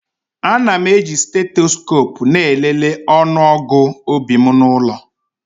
Ana m eji steetesikopu na-elele ọnụọgụ obi m n'ụlọ.